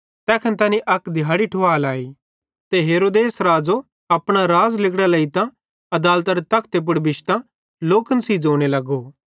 तैखन तैनी अक दिहाड़ी ठुवहलाई ते हेरोदेस राज़ो अपना राज़ेरां लिगड़ां लेइतां आदालतरे तखते पुड़ बिश्तां लोकन सेइं ज़ोने लगो